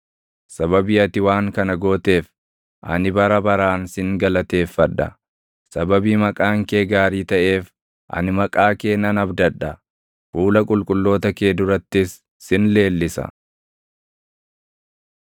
Sababii ati waan kana gooteef ani bara baraan sin galateeffadha; sababii maqaan kee gaarii taʼeef ani maqaa kee nan abdadha. Fuula qulqulloota kee durattis sin leellisa.